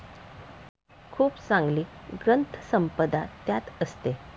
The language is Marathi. खूप चांगली ग्रंथसंपदा त्यात असते.